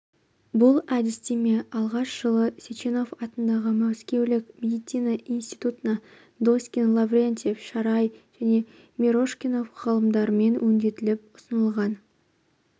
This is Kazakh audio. бұл әдістеме алғаш жылы сеченов атындағы мәскеулік медицина институтында доскин лаврентьев шарай және мирошников ғалымдарымен өңделіп ұсынылған